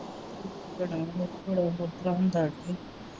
ਬੜੀ ਹੁੰਦਾ।